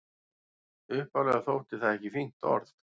Upphaflega þótti það ekki fínt orð.